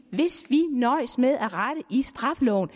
nøjes med at rette i straffeloven